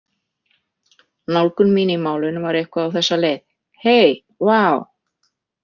Nálgun mín í málinu var eitthvað á þessa leið: Hey, vá!